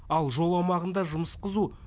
ал жол аумағында жұмыс қызу